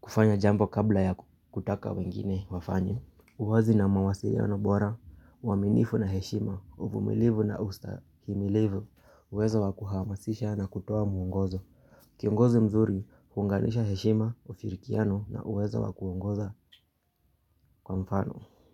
kufanya jambo kabla ya kutaka wengine wafanye. Uwazi na mawasiliano bora uaminifu na heshima uvumilivu na ustahimilivu uwezo wa kuhamasisha na kutoa mwongozo kiongozi mzuri huunganisha heshima ushirikiano na uwezo wa kuongoza kwa mfano Muzika.